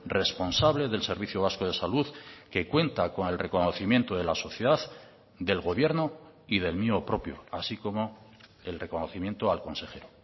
responsable del servicio vasco de salud que cuenta con el reconocimiento de la sociedad del gobierno y del mío propio así como el reconocimiento al consejero